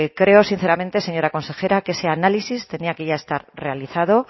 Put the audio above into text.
creo sinceramente señora consejera que ese análisis tenía que ya estar realizado